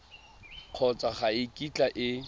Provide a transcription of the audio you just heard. kgotsa ga e kitla e